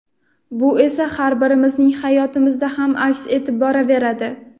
bu esa har birimizning hayotimizda ham aks etib boraveradi.